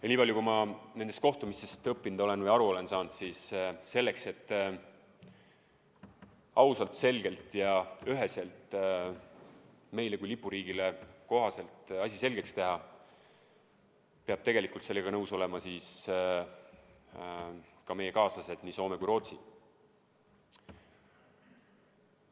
Ja nii palju, kui ma nendest kohtumistest õppinud või aru saanud olen, siis selleks, et ausalt, selgelt ja üheselt Eestile kui lipuriigile kohaselt asi selgeks teha, peavad sellega nõus olema ka meie saatusekaaslased, nii Soome kui Rootsi.